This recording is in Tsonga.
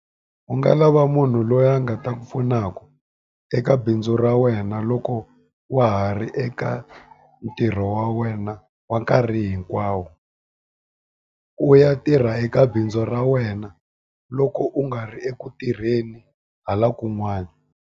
U nga lava munhu loyi a nga ta ku pfunaka eka bindzu ra wena loko wa ha ri eka ntirho wa wena wa nkarhi hinkwawo. U ya tirha eka bindzu ra wena loko u nga ri eku tirheni hala kun'wana.